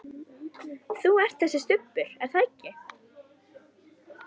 Þú ert þessi Stubbur, er það ekki?